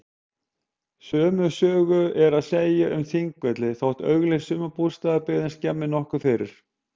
Sömu sögu er að segja um Þingvelli þótt upplýst sumarbústaðabyggðin skemmi nokkuð fyrir.